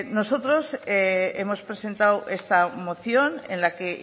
nosotros hemos presentado esta moción en la que